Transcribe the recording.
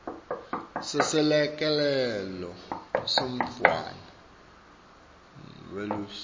seselekelelo semntfwana welusiso